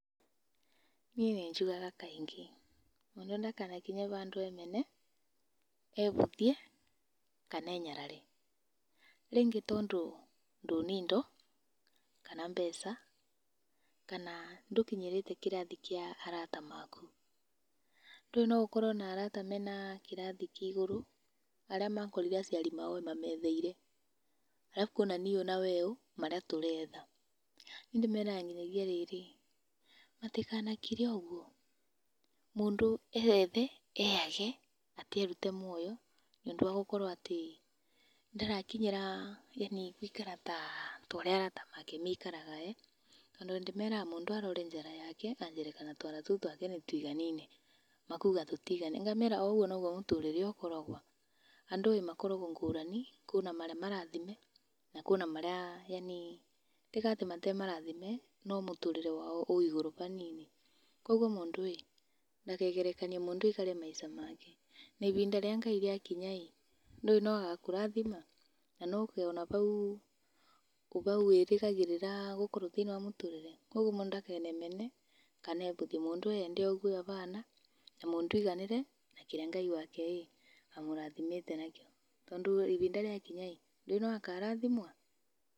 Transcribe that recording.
Niĩ nĩ njugaga kaingĩ. Mũndũ ndakanakinye bandũ emene, ebũthie, kana enyarare. Rĩngĩ tondũ ndũ na indo kana mbeca, kana ndũkinyĩrĩte kĩrathi kĩa arata maku. Ndũĩ no ũkorwo na arata me na kĩrathi kĩa igũrũ? Arĩa makorire aciari ao mametheire. Alafu kwĩna niũ na weũ marĩa tũretha. Niĩ ndĩmeraga nginyagia rĩrĩ; matikanakire ũguo mũndũ eyethe, eyage, atĩ erute mwoyo nĩ ũndũ wa gũkorwo atĩ ndarakinyĩra yani gũikara ta ũrĩa arata make maikaraga. Tondũ ndĩmeraga mũndũ arore njaara yake anjĩre kana twara twake tũu nĩ tũiganaine. Makauga tũtiganaine, ngamera o ũguo noguo mũtũrĩre ũkoragwo. Andũ makoragwo ngũrani. Kurĩ na marĩa marathime, na kũrĩa na arĩa, yani ti atĩ ti marathime, no mũtũrĩre wao wĩ igũrũ hanini. Kogwo mũndũ ĩĩ, ndakegerekanie aikare maica make. Na ibinda rĩa Ngai rĩakinya ĩ, ndũĩ no agakũrathima? Na no ũkeyona bau wĩrĩgagĩrĩra gũkorwo thĩ-inĩ wa mũtũrĩre. Kogwo mũndũ ndakemene kana ebũthie. Mũndũ eyende o ũguo abana, na mũndũ aiganĩre na kĩrĩa Ngai wake ĩ, amũrathimĩte nakĩo. Tondũ ibinda rĩakinya ĩ, ndũĩ no akarathimwo?